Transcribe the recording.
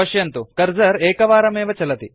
पश्यन्तु कर्सर एकवारमेव चलति